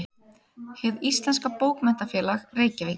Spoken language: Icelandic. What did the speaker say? Hið íslenska bókmenntafélag: Reykjavík.